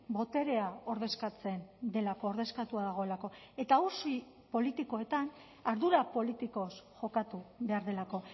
boterea ordezkatzen delako ordezkatua dagoelako eta auzi politikoetan ardura politikoz jokatu behar delako